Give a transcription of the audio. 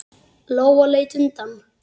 Lóa leit undan.